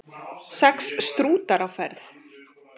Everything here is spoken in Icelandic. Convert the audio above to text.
Sex stútar á ferð